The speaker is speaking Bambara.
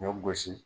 Ɲɔ gosi